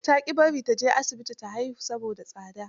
Ta ƙi bari ta je asibiti ta haihu, saboda tsada.